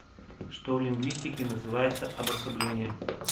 что в лингвистике называется обособлением